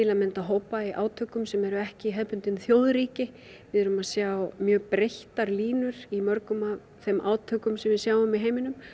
að mynda hópa í átökum sem eru ekki hefðbundin þjóðríki við erum að sjá mjög breyttar línur í mörgum af þeim átökum sem við sjáum í heiminum